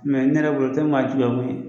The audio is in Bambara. ne yɛrɛ bolo, o tɛ maa